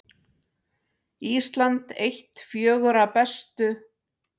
Ísland eitt fjögurra bestu